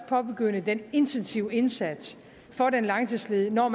påbegynde den intensive indsats for den langtidsledige når